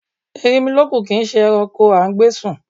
Erinmilọ́kun kìí ṣe ẹranko a gbé sùn.